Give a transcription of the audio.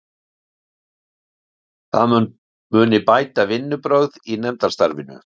Það muni bæta vinnubrögð í nefndastarfinu